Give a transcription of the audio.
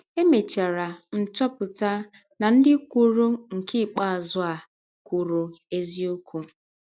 Emechara m chọpụta na ndị kwụrụ nke ikpeazụ a kwụrụ eziọkwụ.